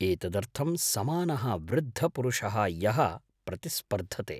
एतदर्थं समानः वृद्धपुरुषः यः प्रतिस्पर्धते।